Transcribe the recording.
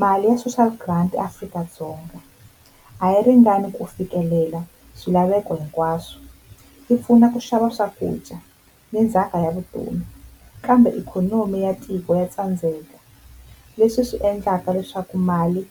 Mali ya social grant eAfrika-Dzonga a yi ringani ku fikelela swilaveko hinkwaswo, yi pfuna ku xava swakudya ni ndzhaka ya vutomi kambe ikhonomi ya tiko ya tsandzeka leswi swi endlaka leswaku mali